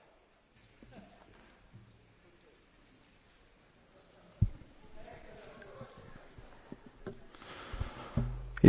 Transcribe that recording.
Io credo che la Russia sia sicuramente molto più democratica dell'Unione europea così come oggi è impostata, che è una finta democrazia.